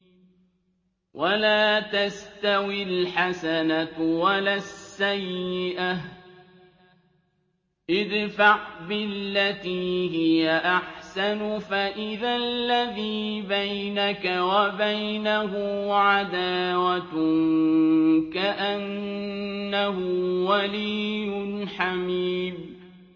وَلَا تَسْتَوِي الْحَسَنَةُ وَلَا السَّيِّئَةُ ۚ ادْفَعْ بِالَّتِي هِيَ أَحْسَنُ فَإِذَا الَّذِي بَيْنَكَ وَبَيْنَهُ عَدَاوَةٌ كَأَنَّهُ وَلِيٌّ حَمِيمٌ